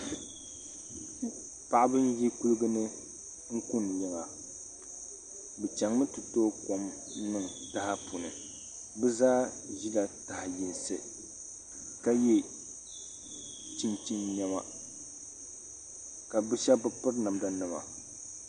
Paɣiba n yi kuliga ni n kuni yiŋa bi chaŋ mi ti tooi kom n niŋ taha puuni bi zaa zila taha yinsi ka yiɛ chinchini nɛma ka bi shɛba bi piri.